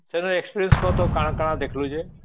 ସେନର experience କହ ତ କଣ କଣ ଦେଖିଲୁ ଯେ